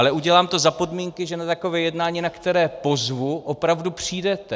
Ale udělám to za podmínky, že na takové jednání, na které pozvu, opravdu přijdete.